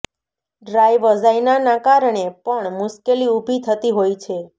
dry વજાઈનાના કારણે પણ મુશ્કેલી ઉભી થતી હોય છે